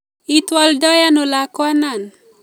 Itwoldo ano lakwanon?